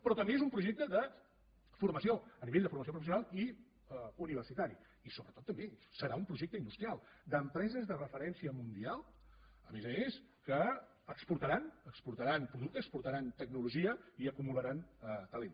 però també és un projecte de formació a nivell de formació professional i universitària i sobretot també serà un projecte industrial d’empreses de referència mundial a més a més que exportaran exportaran productes exportaran tecnologia i acumularan talent